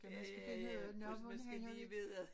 Ja ja ja men skal lige vide